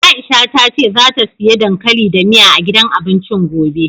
Aisha ta ce zata siya dankali da miya, a gidan abincin gobe.